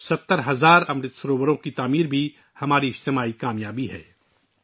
70 ہزار امرت سرووروں کی تعمیر بھی ہماری اجتماعی کامیابی ہے